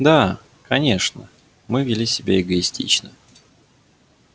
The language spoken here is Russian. да конечно мы вели себя эгоистично